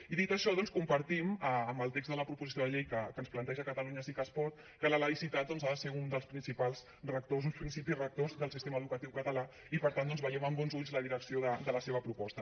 i dit això doncs compartim amb el text de la proposició de llei que ens planteja catalunya sí que es pot que la laïcitat ha de ser un dels principis rectors del sistema educatiu català i per tant veiem amb bons ulls la direcció de la seva proposta